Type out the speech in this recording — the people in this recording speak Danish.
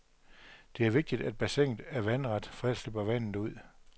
Det er vigtigt, at bassinet er vandret, for ellers løber vandet ud.